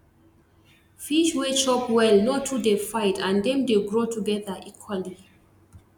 fish wey chop well no too dey fight and dem dey grow together equally